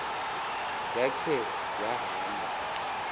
ya khe wahamba